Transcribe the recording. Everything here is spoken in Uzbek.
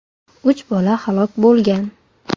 Uch bola halok bo‘lgan.